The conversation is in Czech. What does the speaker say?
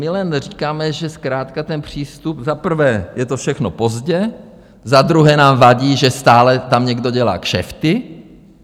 My jen říkáme, že zkrátka ten přístup - za prvé je to všechno pozdě, za druhé nám vadí, že stále tam někdo dělá kšefty.